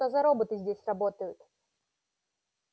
что за роботы здесь работают